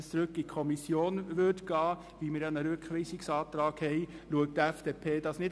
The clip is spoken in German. Es wurde ein Rückweisungsantrag eingereicht.